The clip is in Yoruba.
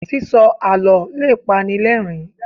sísọ àlọ le pani l'ẹrin